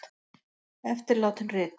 Eftirlátin rit